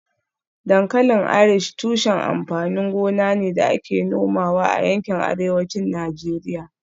Dankalin Irish tushen amfanin gona ne da ake nomawa a yankin Arewacin Najeriya